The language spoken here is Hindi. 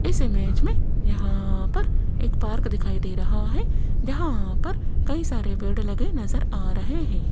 इस इमेज मे यहां पर पार्क दिखाई दे रहा है यहां पर कही सारे पेड़ लगे नज़र आ रहे है।